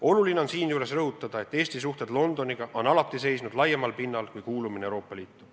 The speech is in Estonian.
Oluline on siinjuures rõhutada, et Eesti suhted Londoniga on alati toetunud laiemale pinnale kui kuulumine Euroopa Liitu.